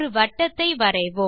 ஒரு வட்டத்தை வரைவோம்